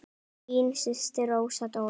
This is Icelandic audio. Þín systir Rósa Dóra.